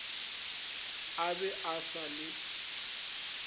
a be a sa le